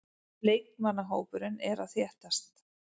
Leikmannahópurinn er að þéttast.